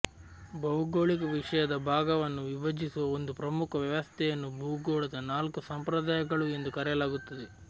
ಭೌಗೋಳಿಕ ವಿಷಯದ ಭಾಗವನ್ನು ವಿಭಜಿಸುವ ಒಂದು ಪ್ರಮುಖ ವ್ಯವಸ್ಥೆಯನ್ನು ಭೂಗೋಳದ ನಾಲ್ಕು ಸಂಪ್ರದಾಯಗಳು ಎಂದು ಕರೆಯಲಾಗುತ್ತದೆ